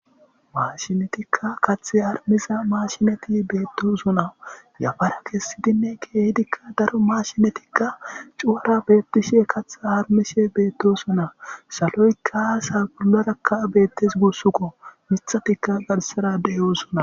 Mashinetika Kath harumiza mashinet betosona . Yafara kesidinne kehidika cora mashinetika cuwara betishe katha harumishe betosona, saloyka sa'a bollaraka betes gusuko, mithatika garsara betosona.